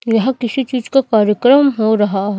यह किसी चीज का कार्यक्रम हो रहा है।